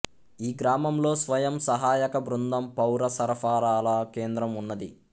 ఈ గ్రామంలో స్వయం సహాయక బృందం పౌర సరఫరాల కేంద్రం ఉన్నది